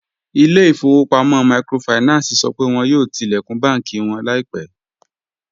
Ilẹ̀-ifọ̀wọ̀pamọ̀ míkrófáìnánsì sọ pé wọn yóò tilẹ̀kún bànki wọn laipẹ